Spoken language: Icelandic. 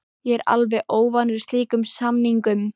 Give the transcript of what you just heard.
Ég er alveg óvanur slíkum samningum.